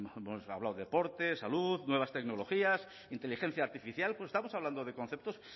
hemos hablado de deporte salud nuevas tecnologías inteligencia artificial estamos hablando de conceptos